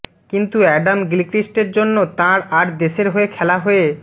কিন্তু অ্যাডাম গিলক্রিস্টের জন্য তাঁর আর দেশের হয়ে খেলা হয়ে